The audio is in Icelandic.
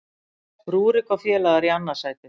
Rúrik og félagar í annað sætið